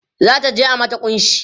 zata je a mata kunshi